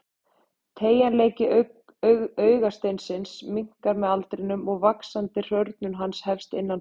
Teygjanleiki augasteinsins minnkar með aldrinum og vaxandi hrörnun hans hefst innan frá.